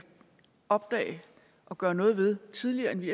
opdage og gøre noget ved tidligere end vi